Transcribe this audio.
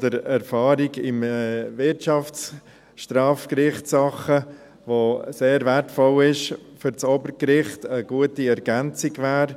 der Erfahrung in Wirtschaftsstrafgerichtssachen, die sehr wertvoll ist für das Obergericht und eine gute Ergänzung wäre.